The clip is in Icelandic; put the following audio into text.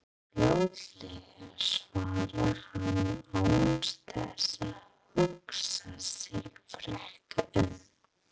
Fljótlega, svarar hann án þess að hugsa sig frekar um.